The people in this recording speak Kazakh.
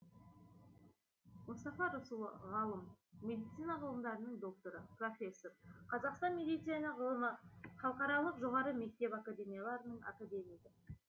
мұстафа рысұлы ғалым медицина ғылымдарының докторы профессор қазақстан медицина ғылымы халықаралық жоғары мектеп академияларының академигі